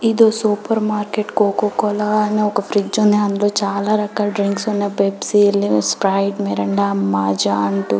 ఇదు సూపర్ మార్కెట్లో కోకోకోలా అని ఒక ఫ్రిడ్జ్ ఉంది. అందులో చాలారకాల డ్రింక్స్ ఉన్నాయి. పెప్సీ స్ప్రైట్ మిరిండా మజ్జా అంటూ --